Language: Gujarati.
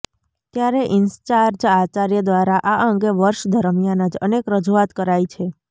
ત્યારે ઇન્ચાર્જ આચાર્ય દ્વારા આ અંગે વર્ષ દરમિયાન જ અનેક રજૂઆત કરાઇ છે